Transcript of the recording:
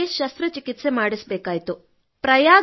ಅವುಗಳಿಗೆ ಶಸ್ತ್ರಕ್ರಿಯೆ ಮಾಡಿಸಬೇಕಾಯಿತು